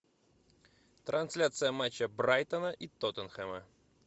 трансляция матча брайтона и тоттенхэма